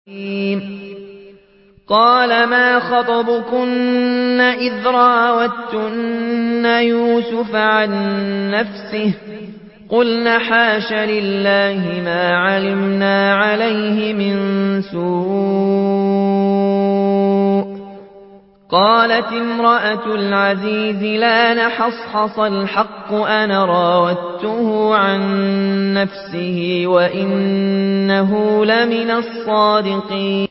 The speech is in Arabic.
قَالَ مَا خَطْبُكُنَّ إِذْ رَاوَدتُّنَّ يُوسُفَ عَن نَّفْسِهِ ۚ قُلْنَ حَاشَ لِلَّهِ مَا عَلِمْنَا عَلَيْهِ مِن سُوءٍ ۚ قَالَتِ امْرَأَتُ الْعَزِيزِ الْآنَ حَصْحَصَ الْحَقُّ أَنَا رَاوَدتُّهُ عَن نَّفْسِهِ وَإِنَّهُ لَمِنَ الصَّادِقِينَ